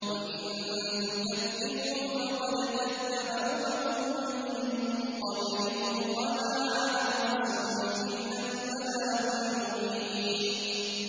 وَإِن تُكَذِّبُوا فَقَدْ كَذَّبَ أُمَمٌ مِّن قَبْلِكُمْ ۖ وَمَا عَلَى الرَّسُولِ إِلَّا الْبَلَاغُ الْمُبِينُ